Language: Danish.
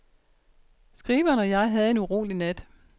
Skriveren og jeg havde en urolig nat.